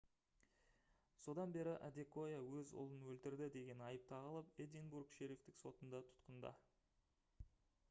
содан бері адекоя өз ұлын өлтірді деген айып тағылып эдинбург шерифтік сотында тұтқында